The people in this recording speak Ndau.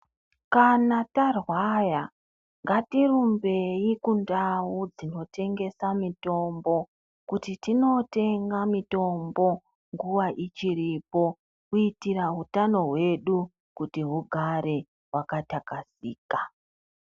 Kana tarwara ngatirumbei kundau dzinotengesa mitombo kuti tinotenga mitombo nguwa ichiripokuitira utano hwedu hugare hwakathakazeka.